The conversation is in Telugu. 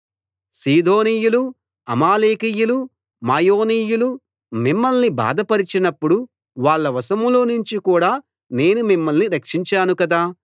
సీదోనీయులు అమాలేకీయులు మాయోనీయులు మిమ్మల్ని బాధ పరచినప్పుడు వాళ్ళ వశంలో నుంచి కూడా నేను మిమ్మల్ని రక్షించాను కదా